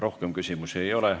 Rohkem küsimusi ei ole.